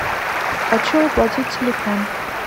хочу оплатить телефон